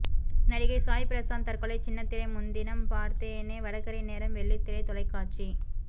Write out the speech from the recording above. நடிகர் சாய் பிரசாந்த் தற்கொலை சின்னத்திரை முன்தினம் பார்த்தேனே வடகறி நேரம் வெள்ளித்திரை தொலைக்காட்சி